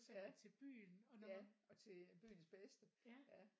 Ja ja og til øh byens bedste ja